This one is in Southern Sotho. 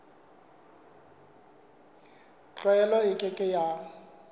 tlwaelo e ke ke ya